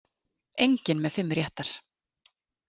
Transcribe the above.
Enginn með fimm réttar